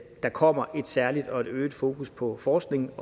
der kommer et særligt og øget fokus på forskning